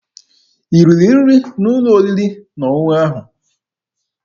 I riri nri n'ụlọ oriri na ọṅụṅụ ahụ?